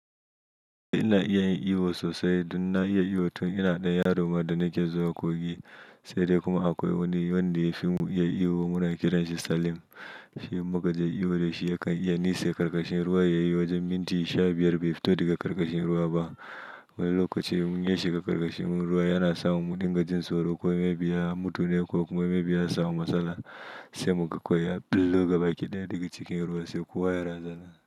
Ina iya yin iyo sosai don na iya iyo tun ina ɗan yaro ma da nake zuwa kogi. Sai dai kuma akwai wani wanda ya fi mu iya iyo muna kiranshi Salim. Shi in mukaje iyo da shi yakan iya nitse karkashin ruwa ya yi wajen minti sha biyar bai fito daga karkashin ruwa ba. Wani lokaci ya shiga karkashin ruwa yana samu mu dinga jin tsoro. Ko me bi ya mutu ne ko kuma me bi ya ya samu matsala, sai muga kawai ya billo gaba kidaya daga cikin ruwa sai kowa ya razana.